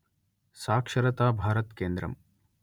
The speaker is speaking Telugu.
సాక్షరతా భారత్ కేంద్రం